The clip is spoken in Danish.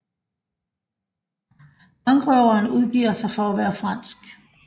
Bankrøveren udgiver sig for at være fransk